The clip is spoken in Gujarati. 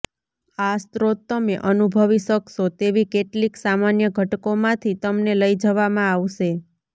આ સ્રોત તમે અનુભવી શકશો તેવી કેટલીક સામાન્ય ઘટકોમાંથી તમને લઈ જવામાં આવશે